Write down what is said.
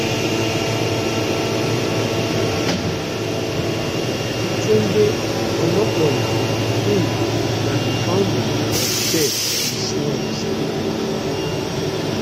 tunde onakoya um na di founder of chess in slums africa